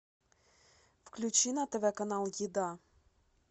включи на тв канал еда